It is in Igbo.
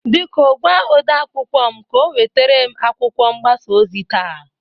Biko gwa ode akwụkwọ m ka o nweterem akwụkwọ mgbasa ozi taa.